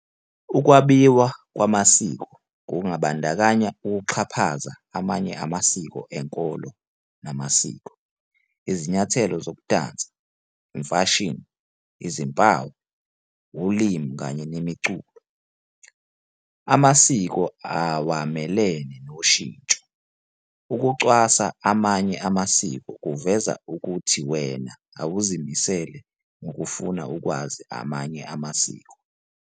Ukwaviwa kwamasiko kungabandakanya ukuxhaphaza amanye amasiko enkolo namasiko, izinyathelo zokudansa, imfashini, izimpawu, ulimi kanye nemiculo. Amasiko awamelene noshintsho, ukucwasa amanye amasiko kuveza ukuyhi wena awuzimisele ngokufuna ukwazi amanye amasiko.